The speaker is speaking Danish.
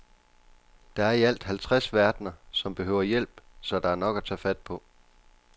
Der er i alt halvtreds verdener, som behøver hjælp, så der er nok at tage fat på.